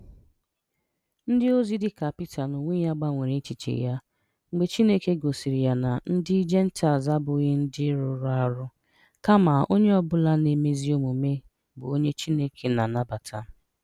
Ndịozi dị ka Pita n’onwe ya gbanwere echiche ya mgbe Chineke gosiri ya na ndị Jentaịl abụghị ndị rụrụ arụ, kama onye ọ bụla na-eme ezi omume bụ onye Chineke na-anabata.